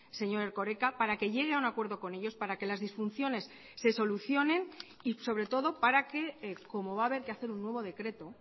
señor erkoreka para que llegue a un acuerdo con ellos para que las disfunciones se solucionen y sobre todo para que como va haber que hacer un nuevo decreto